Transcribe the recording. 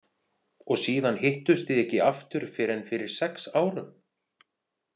Og síðan hittust þið ekki aftur fyrr en fyrir sex árum?